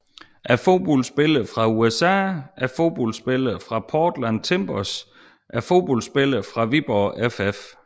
Fodboldspillere fra USA Fodboldspillere fra Portland Timbers Fodboldspillere fra Viborg FF